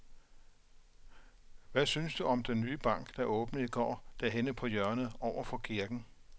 Hvad synes du om den nye bank, der åbnede i går dernede på hjørnet over for kirken?